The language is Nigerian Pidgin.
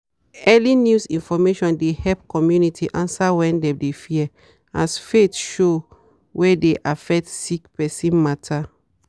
early news information de help community answer when dem de fear as faith show wey de affect sick person matter